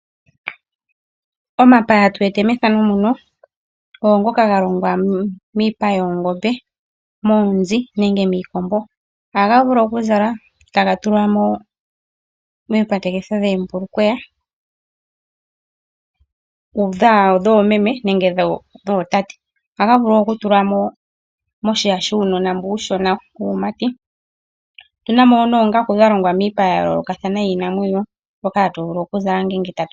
Omapaya ngoka ga longwa miipa yoongombe, yoonzi nenge yiikombo. Ohaga vulu okuzalwa taga tulwa miikongo yoombulukweya yoomeme nenge yootate noshowo moombunda dhuunona wuumati . Opena wo noongaku dhono hadhi zalwa.